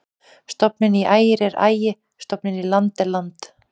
Stofninn í Ægir er Ægi-, stofninn í land er land.